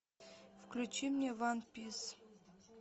включи мне ван пис